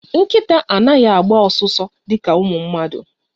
Nkịta anaghị agba ọsụsọ dịka ụmụ mmadụ